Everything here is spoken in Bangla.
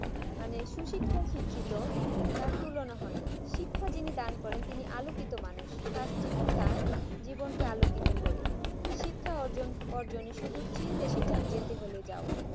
মানে সুশিক্ষায় শিক্ষিত তার তুলনা হয় না শিক্ষা যিনি দান করেন তিনি আলোকিত মানুষ শিক্ষা তার জীবনকে আলোকিত করে শিক্ষার অর্জন ই শুধু চিন দেশে যেতে হলে যাও